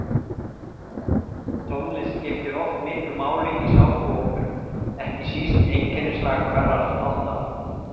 Tónlist skiptir oft miklu máli í sápuóperum, ekki síst einkennislag hverrar þáttaraðar.